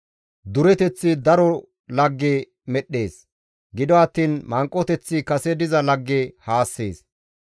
Dureteththi daro lagge medhdhees; gido attiin manqoteththi kase diza lagge haassees.